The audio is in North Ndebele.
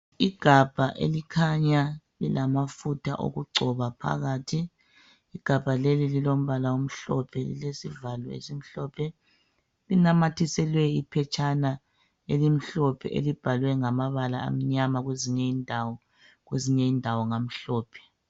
Igabha elikhanya lilamafutha okugcoba phakathi. Igabha leli lilombala omhlophe lesivalo esimhlophe linamathiselwe iphetshana elimhlophe elibhalwe ngamabala amnyama kwezinye indawo kwezinye indawo ngamhlophe.